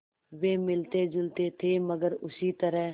वे मिलतेजुलते थे मगर उसी तरह